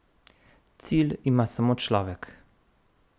Cilj ima samo človek.